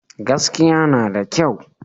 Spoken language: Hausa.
Gaskiya na da kyau